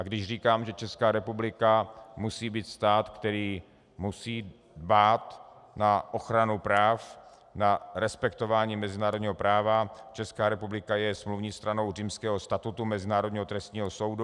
A když říkám, že Česká republika musí být stát, který musí dbát na ochranu práv, na respektování mezinárodní práva, Česká republika je smluvní stranou Římského statutu Mezinárodního trestního soudu.